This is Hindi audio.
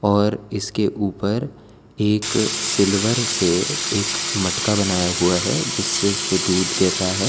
और इसके ऊपर एक सिल्वर से एक मटका बनाया हुआ है जिससे इसपे दूध गिर रहा है।